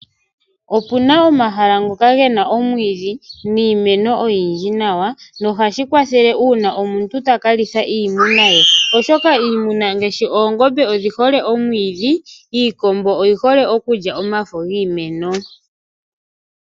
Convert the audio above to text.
Opuna omahala ngoka gena omwiidhi niimeno oyindji nawa nohashi kwathele uuna omuntu taka litha iimuna ye, oshoka iimuna ngaashi oongombe odhi hole omwiidhi. Iikombo oyi hole okulya omafo giimeno.